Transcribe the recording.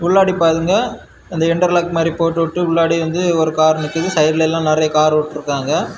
உள்ளாடி பாருங்க அந்த இன்டர்லாக் மாதிரி போட்டு உட்டு உள்ளாடி வந்து ஒரு கார் நிக்கிது சைடுல எல்லாம் நிறைய கார் உட்டிருக்காங்க.